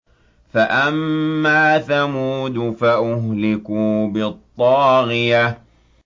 فَأَمَّا ثَمُودُ فَأُهْلِكُوا بِالطَّاغِيَةِ